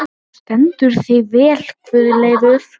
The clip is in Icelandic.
Þú stendur þig vel, Guðleifur!